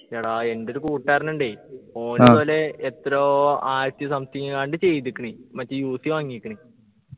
എടാ എൻ്റെ ഒരു കൂട്ടുകാരനുണ്ടെ ഓന് എത്രയോ ആയിരത്തി something ന് എങ്ങാണ്ട് ചെയ്ത്ക്ക്ണ് മറ്റേ UC വാങ്ങിക്ക്ണ്